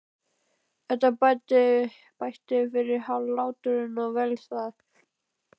Þetta bætti fyrir hláturinn og vel það.